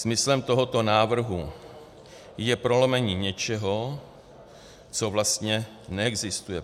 Smyslem tohoto návrhu je prolomení něčeho, co vlastně neexistuje.